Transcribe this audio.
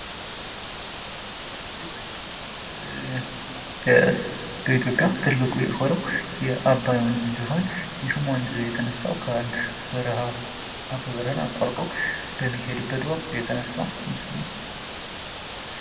በኢትዮጵያ ትልቁ የሆነውን የአባይ ወንዝ ሲሆን፤ ይህም ወንዝ የተነሳው የተነሳው ከአንድ በረሃ አባይ በረሃን አቋርጦ በሚሄድበት ወቅት እየተነሳ ምስል ነው።